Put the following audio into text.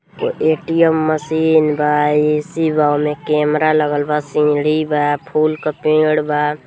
ए _ T _ M machine बा A C बा ओमें कैमरा लगल बा सीढ़ी बा फूल का पेड़ बा।